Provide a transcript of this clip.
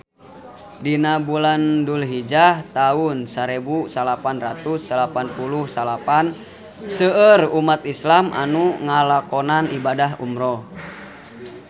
Dina bulan Dulhijah taun sarebu salapan ratus salapan puluh salapan seueur umat islam nu ngalakonan ibadah umrah